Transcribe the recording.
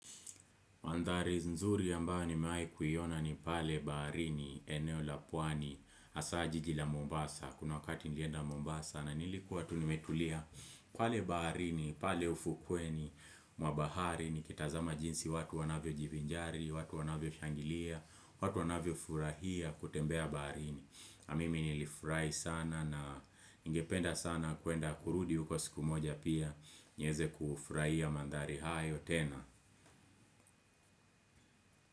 Mandhari nzuri ambayo nimewahi kuni pale baharini, eneo la pwani, hasa jiji la Mombasa. Kuna wakati nilienda Mombasa na nilikuwa tu nimetulia pale baharini, pale ufukweni, mwa bahari ni kitazama jinsi watu wanavyo jivinjari, watu wanavyo shangilia, watu wanavyo furahia kutembea baharini. Na mimi nilifurahi sana na nigependa sana kuenda kurudi uko siku moja pia nieze kufurahia mandhari hayo tena.